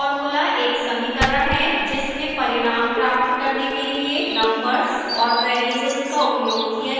formula एक समीकरण है जिसमें परिणाम प्राप्त करने के लिए numbers और variables का उपयोग किया जाता है